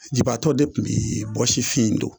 Jiaatɔw de kun be bɔsifin in don